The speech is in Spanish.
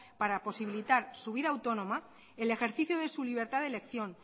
para posibilitar su vida autónoma el ejercicio de su libertad de elección